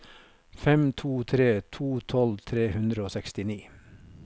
fem to tre to tolv tre hundre og sekstini